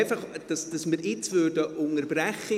– Sind Sie einverstanden, wenn wir jetzt unterbrechen?